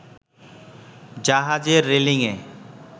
জাহাজের রেলিংএ